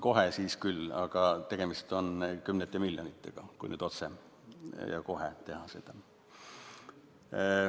Tegemist on kümnete miljonitega, kui nüüd otsekohe seda teha.